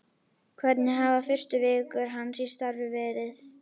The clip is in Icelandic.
Hvernig hafa fyrstu vikur hans í starfi verið?